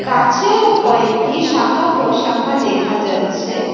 গাছেও কয়েকটি শাখা প্রশাখা দেখা যাচ্ছে।